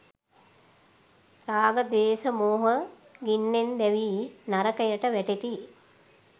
රාග, ද්වේෂ, මෝහ ගින්නෙන් දැවී නරකයට වැටෙති.